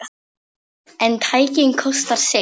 En tæknin kostar sitt.